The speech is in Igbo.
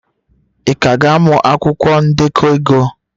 Ị ka ga-amụ akwụkwọ ndekọ ego?